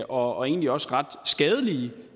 og egentlig også skadelige